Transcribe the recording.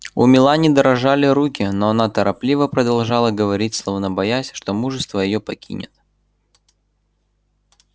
у мелани дрожали руки но она торопливо продолжала говорить словно боясь что мужество её покинет